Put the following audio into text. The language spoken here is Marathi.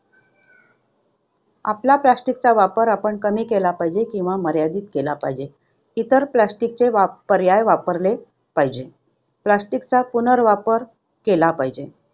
आपला plastic चा वापर आपण कमी केला पाहिजे किंवा किंवा मर्यादित केला पाहिजे. इतर वाप~ plastic पर्याय वापरले पाहिजे. Plastic चा पुनर्वापर केला पाहिजे.